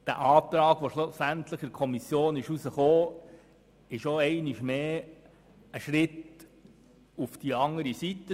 Der Antrag, der schlussendlich von der Kommission gutgeheissen wurde, ist einmal mehr ein Schritt in die andere Richtung.